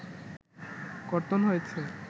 কর্তন হয়েছে